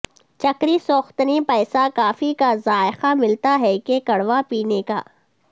چکری سوختنی پیسا کافی کا ذائقہ ملتا ہے کہ کڑوا پینے پکایا